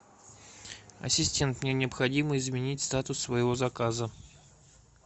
ассистент мне необходимо изменить статус своего заказа